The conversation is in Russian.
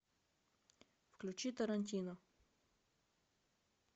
включи тарантино